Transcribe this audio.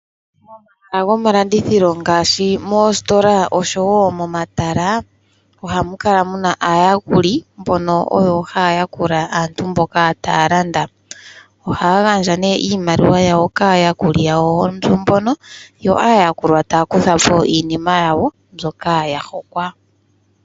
Momahala gomalandithilo ngaashi moositola oshowo momatala, ohamu kala muna aayakuli mbono oyo haya yakula aantu mboka taya landa. Ohaya gandja nee iimaliwa yawo kaayakuli yawo mbono, yo aayakulwa taya kuthapo iinima yawo mbyoka ya hokwa.